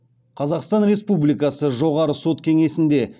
қазақстан республикасы жоғары сот кеңесінде